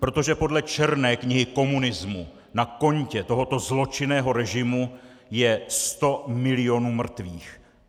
Protože podle Černé knihy komunismu na kontě tohoto zločinného režimu je 100 milionů mrtvých.